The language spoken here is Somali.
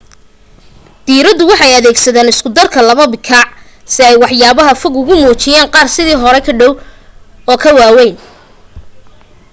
diiraduhu waxay adeegsadaan isku darka laba bikaac si ay waxyaabaha fog ugu muujiyaan qaar sidii hore ka dhow oo ka waawayn